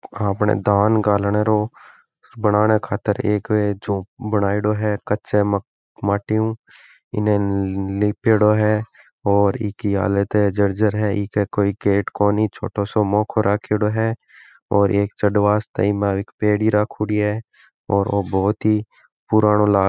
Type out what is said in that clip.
आपणे धान गालने रो बनाने खातिर एक है जो बनायेड़ो है कच्चा माटी उ इने लिपेड़ो है और इ की हालत जर्जर है इके कोई गेट कोंनी छोटाे साे मोखो राख्योड़ो है और एक चढ़ वास्ते इक मायने एक पेड़ी राखोड़ी है और ओ बहुत ही पुरानाे लाग --